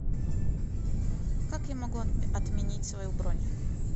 как я могу отменить свою бронь